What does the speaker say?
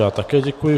Já také děkuji.